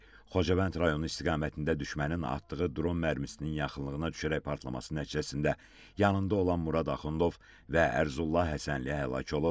Xocavənd rayonu istiqamətində düşmənin atdığı dron mərmisinin yaxınlığına düşərək partlaması nəticəsində yanında olan Murad Axundov və Ərzullah Həsənli həlak olub.